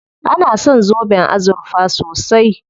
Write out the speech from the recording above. An san zoben azurfa sosai.